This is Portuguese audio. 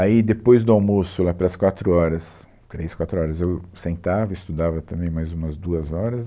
Aí, depois do almoço, lá para as quatro horas, três, quatro horas, eu sentava e estudava também mais umas duas horas.